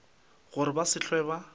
gore ba se hlwe ba